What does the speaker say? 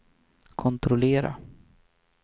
kontrollera